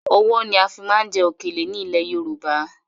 Ọwọ́ ni a fi máa ń jẹ òkèlè ni ilẹ̀ Yorùbá